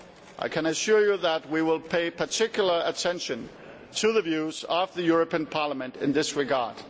I can assure you that we will pay particular attention to the views of the European Parliament in this regard.